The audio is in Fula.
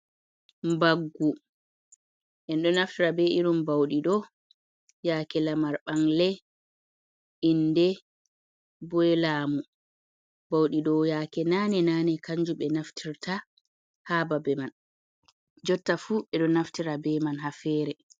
Mbaggu en ɗo naftira be irin ba'uɗi ɗo yaake Lamar, ɓangle, inde, boi laamu, ba'uɗi ɗo yaake naane-naane kanjum ɓe naftirta haa babe man, jotta fu ɓe ɗo naftira be man haa fere.